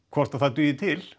hvort það dugi til